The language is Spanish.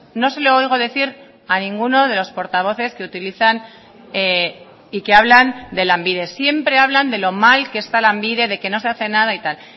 no se lo oigo decir a ninguno de los portavoces que utilizan y que hablan de lanbide siempre hablan de lo mal que está lanbide de que no se hace nada y tal